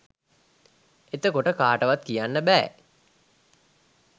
එතකොට කාටවත් කියන්න බෑ